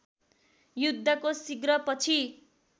युद्धको शीघ्र पछि